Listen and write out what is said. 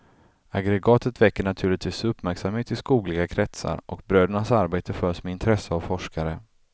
Aggregatet väcker naturligtvis uppmärksamhet i skogliga kretsar, och brödernas arbete följs med intresse av forskare.